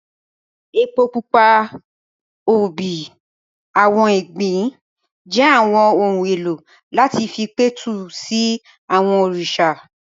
Epo pupa, obì, àwọn ìgbín jẹ́ àwọn ohun èlò láti fi pẹ̀tù sí àwọn òrìṣà